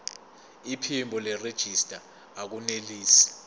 iphimbo nerejista akunelisi